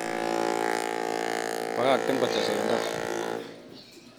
Bakakten kotesta en da